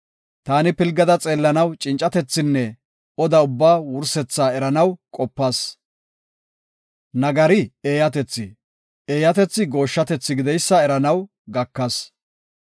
Taani pilgada xeellanaw cincatethinne oda ubbaa wursethaa eranaw qopas. Nagari eeyatethi, eeyatethi gooshshatethi gideysa eranaw gakas.